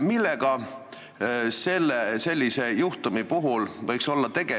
Millega võiks sellise juhtumi puhul olla tegemist?